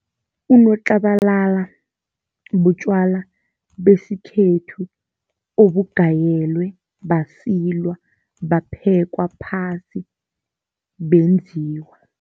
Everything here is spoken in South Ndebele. Unotlabalala butjwala besikhethu obugayelwe, basilwa, baphekwa phasi, benziwa.